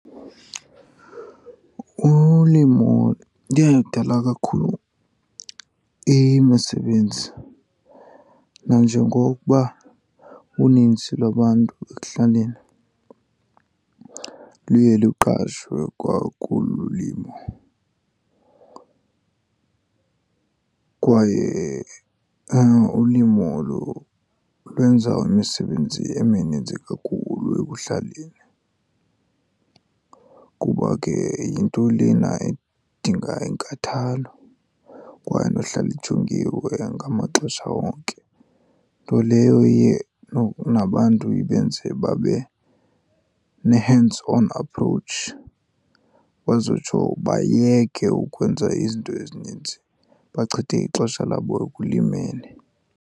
Ulimo yinto engadala kakhulu imisebenzi nanjengokuba unintsi lwabantu ekuhlaleni luye luqashwe kwakulo ulimo. Kwaye ulimo olu lwenza imisebenzi emininzi kakhulu ekuhlaleni, kuba ke yinto lena edinga inkathalo kwaye nohlala ijongiwe ngamaxesha onke. Nto leyo iye nabantu ibenze babe ne-hands on approach, bazotsho bayeke ukwenza izinto ezininzi, bachithe ixesha labo ekulimeni.